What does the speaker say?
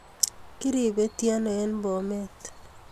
Kiripetiono ooh en Bomet